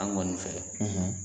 An kɔni fɛ,